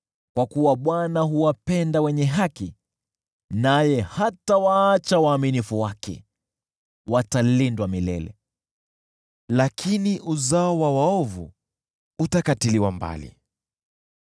Kwa kuwa Bwana huwapenda wenye haki naye hatawaacha waaminifu wake. Watalindwa milele, lakini uzao wa waovu utakatiliwa mbali.